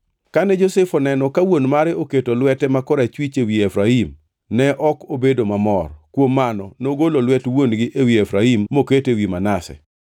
Kane Josef oneno ka wuon mare keto lwete ma korachwich ewi Efraim ne ok obedo mamor; kuom mano, nogolo lwet wuon-gi ewi Efraim moketo ewi Manase.